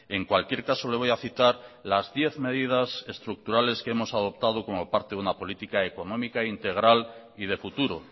en cualquier caso le voy a citar las diez medidas estructurales que hemos adoptado como parte de una política económica integral y de futuro